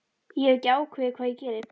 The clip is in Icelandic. Ég hef ekki ákveðið hvað ég geri